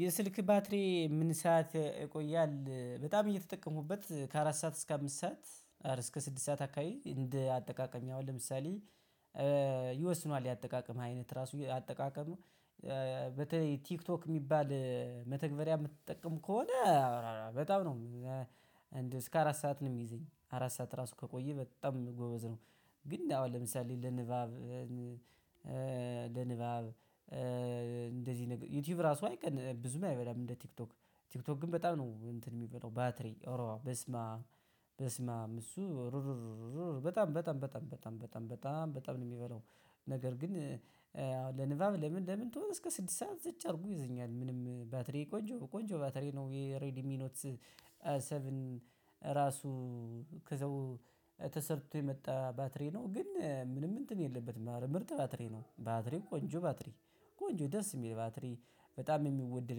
የስልክ ባትሪ ምን ሰዓት ይቆያል በጣም እየተጠቀሙበት ከአራት ሰዓት እስከ አምስት ሰዓት አር እስከ ስድስት ሰዓት አካባቢ እንደ አጠቃቀም ያው ለምሳሌ ይወስኗል የአጠቃቀም አይነት ራሱ አጠቃቀሙ በተለይ ቲክቶክ ሚባል መተግበሪያ የምትጠቀም ከሆነ በጣም ነው። እስከ አራት ሰዓት ነው ሚይዘኝ አራት ሰዓት ራሱ ከቆየ በጣም ጎበዝ ነው። ግን አሁን ለምሳሌ ለንባብ ለንባብ እንደዚህ ነገር ዩቲዩብ ራሱ አይቀን ብዙም አይበላም እንደ ቲክቶክ ቲክቶክ ግን በጣም ነው እንትን ሚበላው ባትሪ ኦሮ በስመአብ በስመአብ እሱ በጣም በጣም በጣም በጣም በጣም በጣም በጣም ነው የሚበላው። ነገር ግን ለንባብ ለምን ለምን ቶሎ እስከ ስድስት ሰዓት ዘጭ አድርጎ ይዘኛል ምንም ባትሪ ቆንጆ ቆንጆ ባትሪ ነው የሬዲ ሚኖት። ሰቨን ራሱ ከዛው ተሰርቶ የመጣ ባትሪ ነው ግን ምንም እንትን የለበትም ምርጥ ባትሪ ነው ባትሪ ቆንጆ ባትሪ ቆንጆ ደስ የሚል ባትሪ በጣም የሚወደድ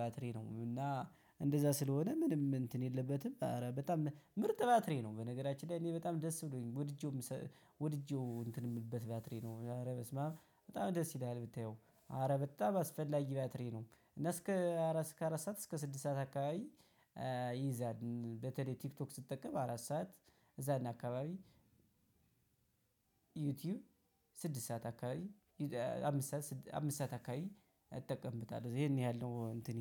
ባትሪ ነው። እና እንደዛ ስለሆነ ምንም እንትን የለበትም አረ በጣም ምርጥ ባትሪ ነው። በነገራችን ላይ እኔ በጣም ደስ ብሎኝ ወድጄውም ወድጄው እንትን የምልበት ባትሪ ነው ኧረ በስመአብ በጣም ደስ ይላል ብታየው ኧረ በጣም አስፈላጊ ባትሪ ነው። እና እስከ አራት ሰዓት እስከ ስድስት ሰዓት አካባቢ ይይዛል በተለይ ቲክቶክ ስትጠቀም አራት ሰዓት እዛ አካባቢ ዩቲዩብ ስድስት ሰዓት አካባቢ አምስት ሰዓት አካባቢ እጠቀምብታለሁ ይሄን ያህል ነው። እንትኔ